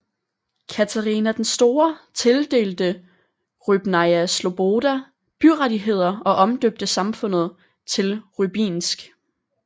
Katarina den Store tildelte Rybnaja sloboda byrettigheder og omdøbte samfundet til Rybinsk